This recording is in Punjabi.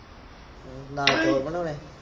ਹਮ ਨਾਲ ਚੋਲ ਬਣਾਉਣੇ